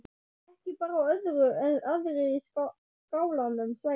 Ekki bar á öðru en aðrir í skálanum svæfu.